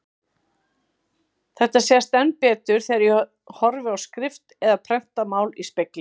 Þetta sést enn betur þegar ég horfi á skrift eða prentað mál í spegli.